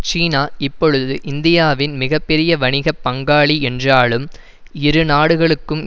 சீனா இப்பொழுது இந்தியாவின் மிக பெரிய வணிக பங்காளி என்றாலும் இரு நாடுகளுக்கும்